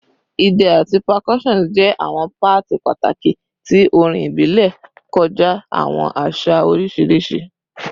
Idẹ ati percussion jẹ awọn paati pataki ti orin ibile kọja awọn aṣa oriṣiriṣi